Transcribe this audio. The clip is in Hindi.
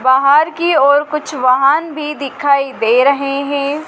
बाहर की ओर कुछ वाहन भी दिखाई दे रहे हैं।